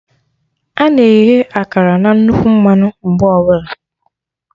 Ana eghe akara na nnukwu mmanụ mgbe ọbụla